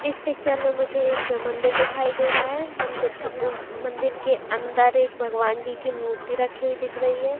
इस पिक्चर में मुझे एक मंदिर दिखाई दे रहा है मंदिर के उ मंदिर के अंदर एक भगवान जी की मूर्ति रखी हुई दिख रही है।